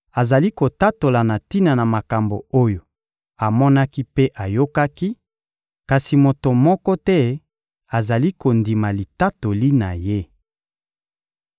azali kotatola na tina na makambo oyo amonaki mpe ayokaki, kasi moto moko te azali kondima litatoli na Ye.